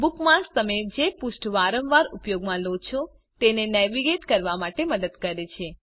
bookmarks તમે જે પૃષ્ઠો વારંવાર ઉપયોગમાં લો છે તેને નેવિગેટ કરવા માટે મદદ કરે છે